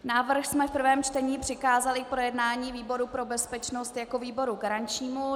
Návrh jsme v prvním čtení přikázali k projednání výboru pro bezpečnost jako výboru garančnímu.